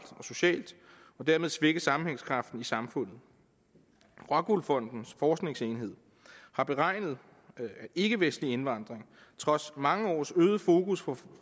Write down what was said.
og socialt og dermed svække sammenhængskraften i samfundet rockwool fondens forskningsenhed har beregnet at ikkevestlig indvandring trods mange års øget fokus på